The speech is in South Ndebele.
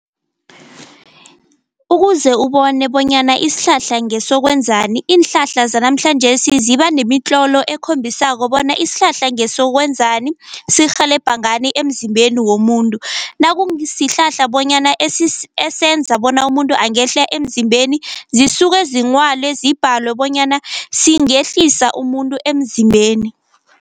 Ukuze ubone bonyana isihlahla ngesokwenzani, iinhlahla zanamhlanjesi ziba nemitlolo ekhombisako bona isihlahla ngesokwenzani, sirhelebha ngani emzimbeni womuntu. Sihlahla bonyana esenza bona umuntu angehla emzimbeni zisuke zinghwale zibhalwe bonyana singehlisa umuntu emzimbeni.